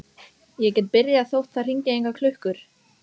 Ég get byrjað þótt það hringi engar klukkur.